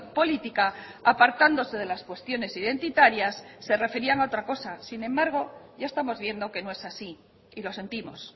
política apartándose de las cuestiones identitarias se referían a otra cosa sin embargo ya estamos viendo que no es así y lo sentimos